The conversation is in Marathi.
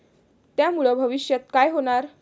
त्यामुळं भविष्यात काय होणार?